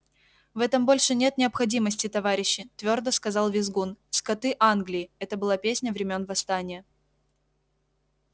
в этом больше нет необходимости товарищи твёрдо сказал визгун скоты англии это была песня времён восстания